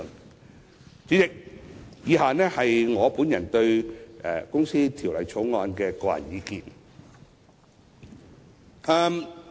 代理主席，以下是我對《2017年公司條例草案》的個人意見。